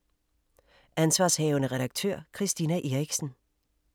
Ansv. redaktør: Christina Eriksen